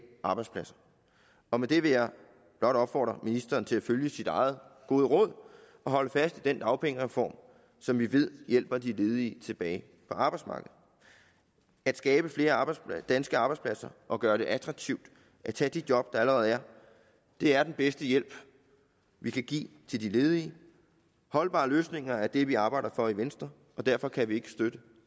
arbejdspladser og med det vil jeg blot opfordre ministeren til at følge sit eget gode råd og holde fast i den dagpengereform som vi ved hjælper de ledige tilbage på arbejdsmarkedet at skabe flere danske arbejdspladser og gøre det attraktivt at tage de job der allerede er er den bedste hjælp vi kan give til de ledige holdbare løsninger er det vi arbejder for i venstre og derfor kan vi ikke støtte